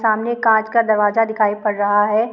--सामने काँच का दरवाजा दिखाई पड़ रहा है।